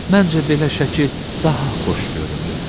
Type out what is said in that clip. Məncə belə şəkil daha xoş görünür.